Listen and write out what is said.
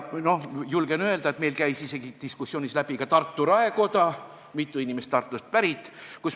Julgen öelda, et meil käis diskussioonist läbi ka Tartu raekoda, sest mitu inimest on Tartust pärit.